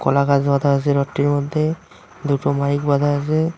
কলা গাছ বাঁধা আছে রথটির মধ্যে দুটো মাইক বাঁধা আছে।